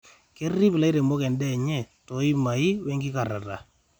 kerrip ilairemok en'daa enye too imai we enkikarrata